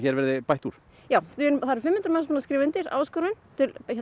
verði bætt úr já það hafa fimm hundruð manns skrifað undir áskorun til